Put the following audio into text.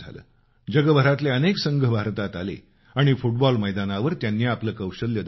जगभरातले अनेक संघ भारतात आले आणि फुटबॉल मैदानावर त्यांनी आपलं कौशल्य दाखवलं